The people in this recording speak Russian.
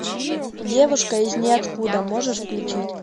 девушка из ниоткуда можешь включить